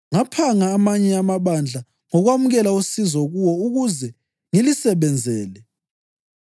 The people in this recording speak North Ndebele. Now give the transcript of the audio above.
Ngaphanga amanye amabandla ngokwamukela usizo kuwo ukuze ngilisebenzele.